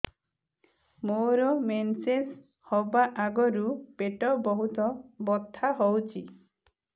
ମୋର ମେନ୍ସେସ ହବା ଆଗରୁ ପେଟ ବହୁତ ବଥା ହଉଚି